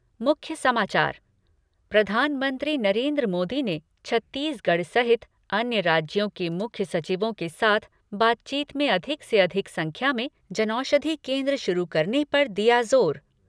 मुख्य समाचार प्रधानमंत्री नरेन्द्र मोदी ने छत्तीसगढ़ सहित अन्य राज्यों के मुख्य सचिवों के साथ बातचीत में अधिक से अधिक संख्या में जनऔषधी केन्द्र शुरू करने पर दिया जोर।